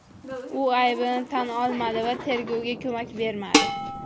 U aybini tan olmadi va tergovga ko‘mak bermadi.